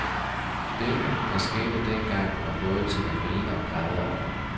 Det, der skete dengang, var både til at grine og græde over.